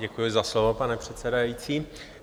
Děkuji za slovo, pane předsedající.